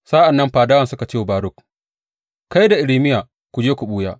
Sa’an nan fadawan suka ce wa Baruk, Kai da Irmiya ku je ku ɓuya.